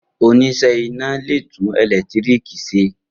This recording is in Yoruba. Oníṣẹ́ iná le tún ẹ̀lẹ́tíríkì ṣe.